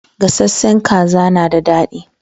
Gasashen kaza na da dadi